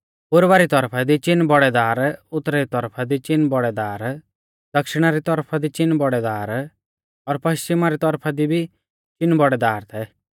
पुर्वा री तौरफा दी चीन बौड़ै दार उतरा री तौरफा दी चीन बौड़ै दार दक्षिणा री तौरफा दी चीन बौड़ै दार और पश्चिमा री तौरफा दी भी चीन बौड़ै दार थै